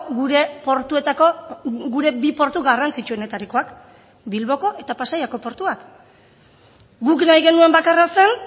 gure portuetako gure bi portu garrantzitsuenetarikoak bilboko eta pasaiako portuak guk nahi genuen bakarra zen